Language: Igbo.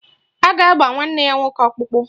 A ga-agba nwanne ya nwoke ọkpụkpụ.